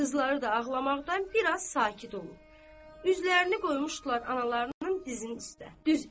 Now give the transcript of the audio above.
Qızları da ağlamaqdan bir az sakit olub, üzlərini qoymuşdular analarının dizin üstə.